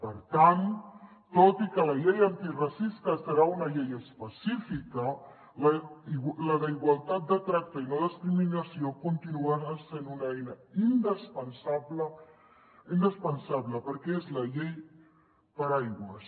per tant tot i que la llei antiracista serà una llei específica la d’igualtat de tracte i no discriminació continuarà sent una eina indispensable indispensable perquè és la llei paraigua